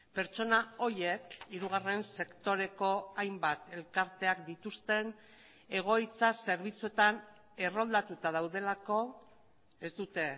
pertsona horiek hirugarren sektoreko hainbat elkarteak dituzten egoitza zerbitzuetan erroldatuta daudelako ez dute